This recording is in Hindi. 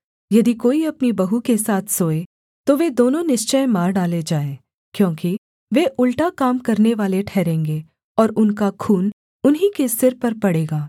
यदि कोई अपनी बहू के साथ सोए तो वे दोनों निश्चय मार डाले जाएँ क्योंकि वे उलटा काम करनेवाले ठहरेंगे और उनका खून उन्हीं के सिर पर पड़ेगा